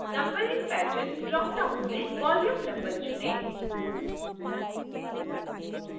numbering pattern dropdown से volume number चुनें